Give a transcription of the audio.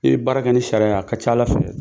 I bɛ baara kɛ ni sariya a ka ca Ala fɛ